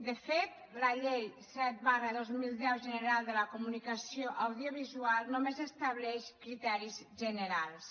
de fet la llei set dos mil deu general de la comunicació audiovisual només estableix criteris generals